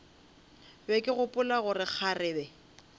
be ke gopola gore kgarebe